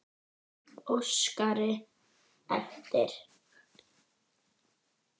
Óskari eftir.